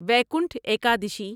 Vaikunth Ekadashi